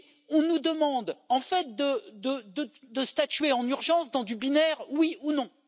On nous demande, en fait, de statuer en urgence dans du binaire oui ou non.